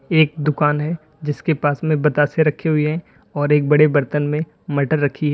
एक दुकान है जिसके पास में बताशे रखे हुए हैं और एक बड़े बर्तन में मटर रखी है।